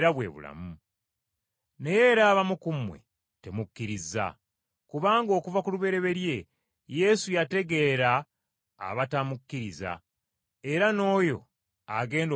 Naye era abamu ku mmwe temukkiriza.” Kubanga okuva ku lubereberye Yesu yategeera abatamukkiriza era n’oyo agenda okumulyamu olukwe.